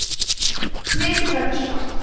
blekið verður svart